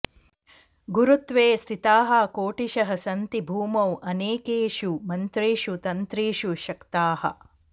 गुरुत्वे स्थिताः कोटिशः सन्ति भूमौ अनेकेषु मन्त्रेषु तन्त्रेषु शक्ताः